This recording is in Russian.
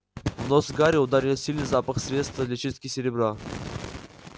в нос гарри ударил сильный запах средства для чистки серебра